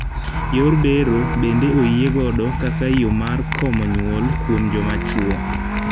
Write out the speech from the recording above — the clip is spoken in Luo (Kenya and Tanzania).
Yor bero bende oyie godo kaka yoo mar komo nyuol kuom joma chwo.